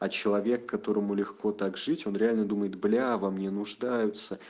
а человек которому легко так жить он реально думает бля во мне нуждаются